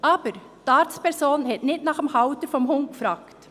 Aber die Arztperson hat nicht nach dem Halter des Hundes gefragt.